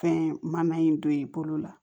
Fɛn mana in don i bolo la